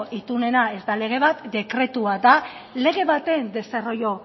itunena ez da lege bat dekretu bat da lege baten desarrollo